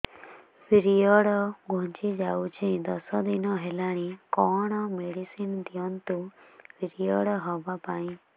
period ଘୁଞ୍ଚି ଯାଇଛି ଦଶ ଦିନ ହେଲାଣି କଅଣ ମେଡିସିନ ଦିଅନ୍ତୁ ପିରିଅଡ଼ ହଵା ପାଈଁ